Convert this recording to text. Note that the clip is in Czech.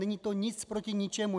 Není to nic proti ničemu.